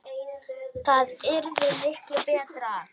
Það yrði miklu BETRA!